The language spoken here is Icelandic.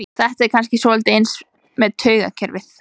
Þetta er kannski svolítið eins með taugakerfið.